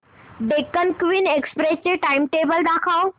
Deccan Queen Express चे timetable दाखव